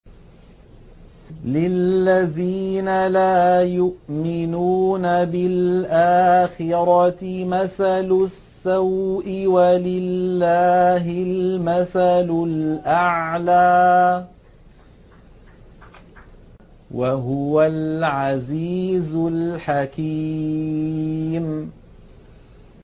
لِلَّذِينَ لَا يُؤْمِنُونَ بِالْآخِرَةِ مَثَلُ السَّوْءِ ۖ وَلِلَّهِ الْمَثَلُ الْأَعْلَىٰ ۚ وَهُوَ الْعَزِيزُ الْحَكِيمُ